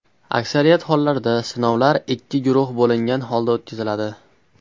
Aksariyat hollarda sinovlar ikki guruh bo‘lingan holda o‘tkaziladi.